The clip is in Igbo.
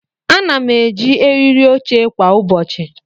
Ana m eji eriri oche kwa ụbọchị.